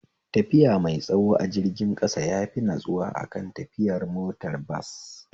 Tafiya mai tsayo a jirgin ƙasa yafi natsuwa akan tafiya motar bas